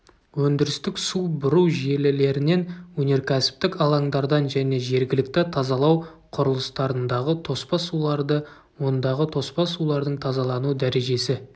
өндірістік су бұру желілерінен өнеркәсіптік алаңдардан және жергілікті тазалау құрылыстарындағы тоспа суларды ондағы тоспа сулардың тазалану дәрежесі